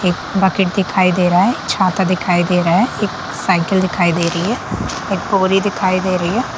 एक बकेट दिखाई दे रह है एक छाता दिखाई दे रहा है एक साइकिल दिखाई दे रही है एक बोरी दिखाई दे रही है।